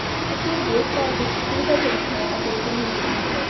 ਇਹ ਦੇਖਭਾਲ ਵਿੱਚ ਸੁਵਿਧਾਜਨਕ ਹੈ ਅਤੇ ਇੱਕ ਅਮੀਰ ਸਮੂਹ ਹੈ